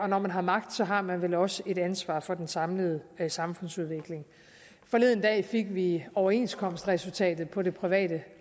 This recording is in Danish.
når man har magt har man vel også et ansvar for den samlede samfundsudvikling forleden dag fik vi overenskomstresultatet på det private